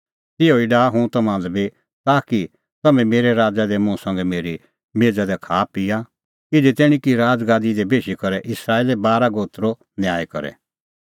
तिहअ ई डाहा हुंह तम्हां लै बी ताकि तम्हैं मेरै राज़ा दी मुंह संघै मेरी मेज़ा दी खाआपिआ इधी तैणीं कि राज़गादी दी बेशी करै इस्राएले बारा गोत्रो न्याय करे